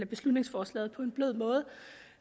beslutningsforslaget på en blød måde